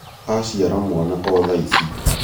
aciara mwana o thaici